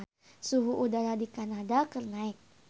Suhu udara di Kanada keur naek